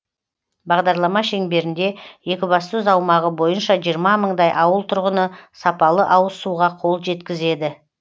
бағдарлама шеңберінде екібастұз аумағы бойынша жиырма мыңдай ауыл тұрғыны сапалы ауыз суға қол жеткізеді